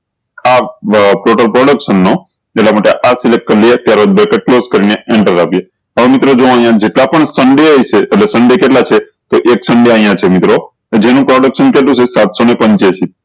આ total production નું એટલા માટે આ select કરી લિયે અત્યારે bracket close કરીને એન્ટર દબાવીએ હવે મિત્રો જો અયીયા કેટલા પણ સન્ડે હોય છે એટલે સન્ડે કેટલા છે તો એક સન્ડે અયીયા છે મિત્રો તો જેનું production કેટલું છે સાત સૌ ને પીન્ચ્યાસી